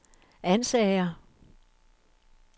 Ansager